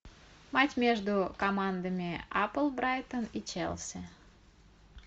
матч между командами апл брайтон и челси